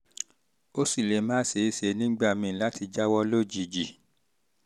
ó sì lè má ṣeé ṣe nígbà míì láti jáwọ́ lójijì